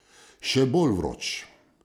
Še bolj vroč!